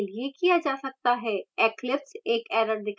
eclipse एक error दिखायेगा